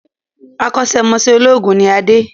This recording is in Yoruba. Akọ́sẹ́ mọṣẹ̀ olóògùn ni Adé